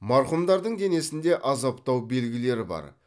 марқұмдардың денесінде азаптау белгілері бар